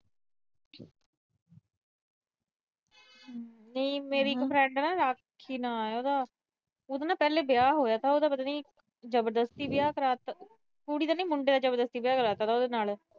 ਨੀ ਮੇਰੀ ਇੱਕ ਫਰੈਂਡ ਆ ਨਾ ਸਾਕਸ਼ੀ ਨਾ ਹੈ ਉਹਦਾ। ਉਹਦਾ ਨਾ ਪਹਿਲੇ ਵਿਆਹ ਹੋਇਆ ਥਾ, ਉਹਦਾ ਪਤਾ ਨੀ ਜਬਰਦਸਤੀ ਵਿਆਹ ਕਰਵਾ ਤਾ, ਕੁੜੀ ਦਾ ਨੀ, ਮੁੰਡੇ ਦਾ ਜਬਰਦਸਤੀ ਵਿਆਹ ਕਰਵਾ ਤਾ ਉਹਦੇ ਨਾਲ।